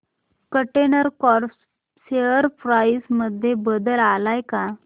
container corp share price मध्ये बदल आलाय का